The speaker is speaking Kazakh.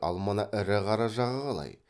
ал мына ірі қара жағы қалай